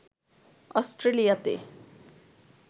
অস্ট্রেলিয়াতে